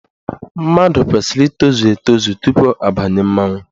Mmadụ kwesiri ịtozu etozu tupu abanye mmanwụ.